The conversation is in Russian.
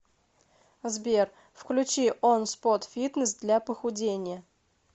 сбер включи он спот фитнес для похудения